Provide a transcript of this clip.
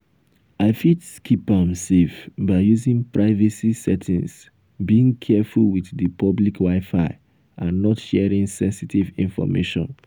i fit keep am safe by using privacy settings being careful with di public wi-fi and not sharing senstive information.